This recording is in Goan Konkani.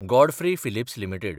Godfrey Phillips India limited